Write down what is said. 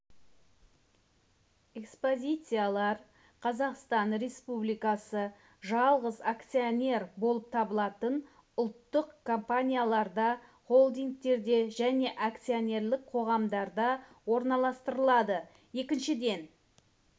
экспозициялар қазақстан республикасы жалғыз акционер болып табылатын ұлттық компанияларда холдингтерде және акционерлік қоғамдарда орналастырылады екіншіден